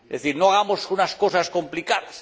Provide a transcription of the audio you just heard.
Es decir, no hagamos unas cosas complicadas.